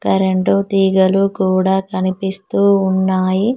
Current తీగలు కూడా కనిపిస్తూ ఉన్నాయి.